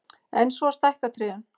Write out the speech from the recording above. En svo stækka trén.